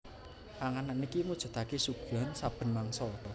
Panganan iki mujudake suguhan saben mangsa